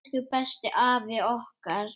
Elsku besti afi okkar.